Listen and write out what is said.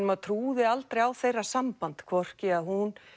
maður trúði aldrei á þeirra samband hvorki að hún